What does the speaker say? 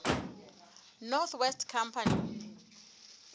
north west company